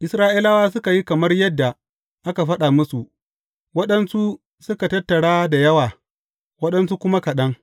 Isra’ilawa suka yi kamar yadda aka faɗa musu, waɗansu suka tattara da yawa, waɗansu kuma kaɗan.